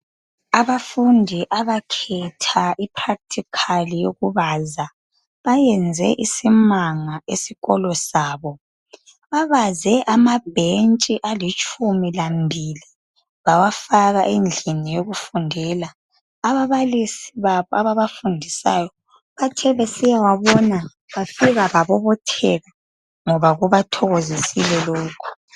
Abafundi abakhetha ipractical yokubaza bayenze isimanga esikolo sabo. Babaze amabhentshi alitshumi lamabili bawafaka endlini yokufundela. Ababalisi babo ababafundisayo bathe besiyawabona bafika babobotheka ngoba kubathokozisile lokho.